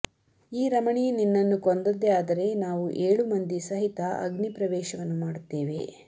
ಈ ರಮಣಿ ನಿನ್ನನ್ನು ಕೊಂದದ್ದೇ ಆದರೆ ನಾವು ಏಳು ಮಂದಿ ಸಹಿತ ಅಗ್ನಿ ಪ್ರವೇಶವನ್ನು ಮಾಡುತ್ತೇವೆ